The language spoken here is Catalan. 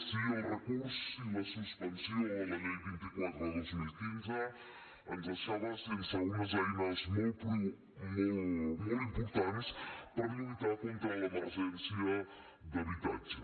sí el recurs i la suspensió de la llei vint quatre dos mil quinze ens deixava sense unes eines molt importants per lluitar contra l’emergència d’habitatge